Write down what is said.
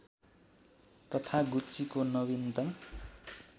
तथा गुच्चीको नविनतम